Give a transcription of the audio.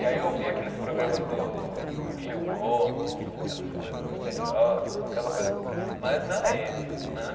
E aí eu ouvia aqueles programas do Gil Gomes, aquelas coisas misteriosas, aquela coisa, mas na á eme, né?